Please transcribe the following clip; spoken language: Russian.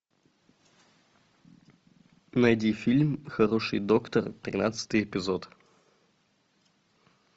найди фильм хороший доктор тринадцатый эпизод